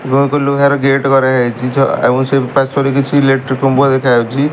ଲୁହାର ଗେଟ୍ କରାହେଇଚି ଏବଂ ପାର୍ଶ୍ଵରେ କିଛି ଏଲେଟ୍ରି ଖମ୍ବ ଦେଖାଯାଉଚି।